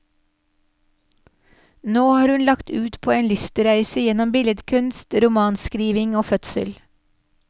Nå har hun lagt ut på en lystreise gjennom billedkunst, romanskriving og fødsel.